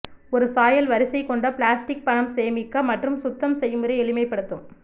ஒரு சாயல் வரிசை கொண்ட பிளாஸ்டிக் பணம் சேமிக்க மற்றும் சுத்தம் செயல்முறை எளிமைப்படுத்தும்